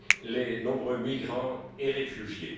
les nombreux migrants et réfugiés.